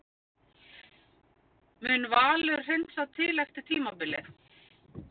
Mun Valur hreinsa til eftir tímabilið?